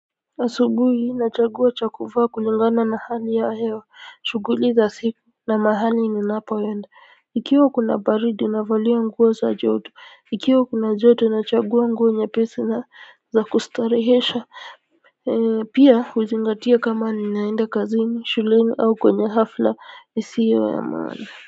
Asubuhi nachagua cha kuvaa kulingana na hali ya hewa shughuli za siku na mahali ninapoenda ikiwa kuna baridi navalia nguo za joto ikiwa kuna joto nachagua nguo nyepesi na za kustarehesha pia huzingatia kama ninaenda kazini shuleni au kwenye hafla isiyo ya maana kwa hivyo.